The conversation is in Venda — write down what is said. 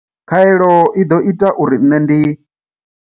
Khaelo i ḓo ita uri nṋe ndi.